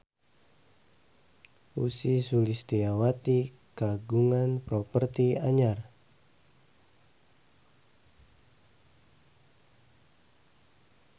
Ussy Sulistyawati kagungan properti anyar